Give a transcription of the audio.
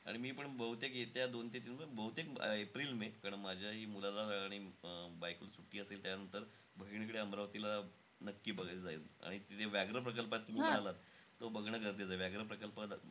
आणि मीपण बहुतेक येत्या दोन ते तीन बहुतेक एप्रिल मे. कारण माझ्याही मुलाला आणि अं बायकोला सुट्टी असेल. त्यानंतर बहिणीकडे अमरावतीला नक्की बघायला जाईल. आणि तिथे व्याघ्र प्रकल्प आहे तुम्ही म्हणालात. तो बघणं गरजेचं आहे. व्याघ्र प्रकल्प